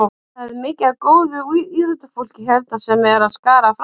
Það er mikið af góðu íþróttafólki hérna sem er að skara fram úr.